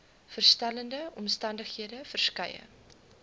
verskillende omstandighede verskeie